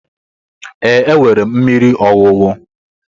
Ee, enwere m mmiri ọṅụṅụ.